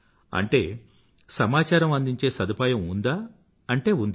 అంటే సమాచారం అందించే సదుపాయం ఉందా అంటే ఉంది